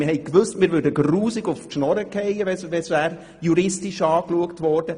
» Wir wussten, wir würden «gruusig uf d‘ Schnurre gheiä», wenn der Fall juristisch betrachtet würde.